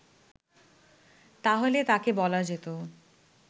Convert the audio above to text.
তাহলে তাঁকে বলা যেত